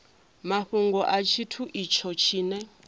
mafhungo a tshithu itsho tshine